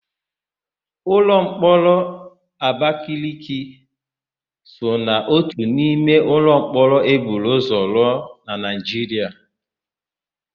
Ụlọmkpọrọ Abakeleke so n'ótù n'ime ụlọmkpọrọ e buru ụzọ nwe na Naịjiria.